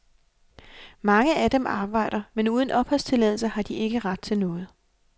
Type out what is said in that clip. Mange af dem arbejder, men uden opholdstilladelse har de ikke ret til noget.